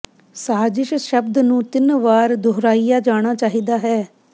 ਸਾਜ਼ਿਸ਼ ਸ਼ਬਦ ਨੂੰ ਤਿੰਨ ਵਾਰ ਦੁਹਰਾਇਆ ਜਾਣਾ ਚਾਹੀਦਾ ਹੈ